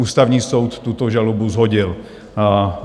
Ústavní soud tuto žalobu shodil.